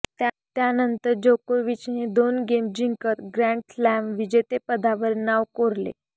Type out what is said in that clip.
त्यानंतर जोकोविचने दोन गेम जिंकत ग्रँडस्लॅम विजेतेपदावर नाव कोरले